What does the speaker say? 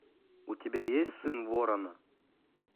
у тебя есть сын ворона